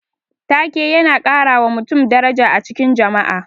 Ta-ke yana karawa mutum daraja a cikin jama'a.